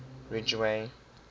ridgeway